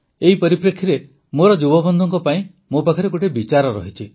ଏହି ପରିପ୍ରେକ୍ଷୀରେ ମୋର ଯୁବବନ୍ଧୁଙ୍କ ପାଇଁ ମୋ ପାଖରେ ଗୋଟିଏ ବିଚାର ଅଛି